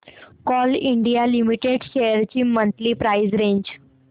Coal India Limited shares ची monthly price range